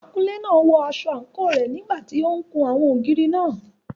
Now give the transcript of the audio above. Akunlé náà wọ aṣọ àǹkóò rẹ̀ nígbà tí ó ń kun àwọn ògiri náà.